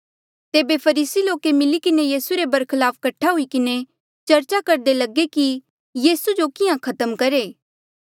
तेबे फरीसी लोके मिली किन्हें यीसू रे बरखलाफ कठा हुई किन्हें चर्चा करदे लगे कि यीसू जो किहां खत्म करहे